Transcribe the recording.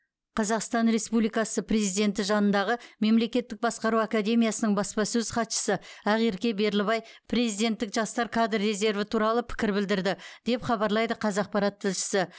қазақстан республикасы президенті жанындағы мемлекеттік басқару академиясының баспасөз хатшысы ақерке берлібай президенттік жастар кадр резерві туралы пікір білдірді деп хабарлайды қазақпарат тілшісі